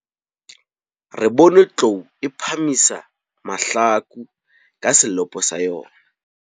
Re bone tlou e phahamisa mahlaku ka selopo sa yona.